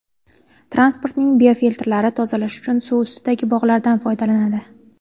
Transportning biofiltrlari tozalash uchun suv ustidagi bog‘lardan foydalanadi.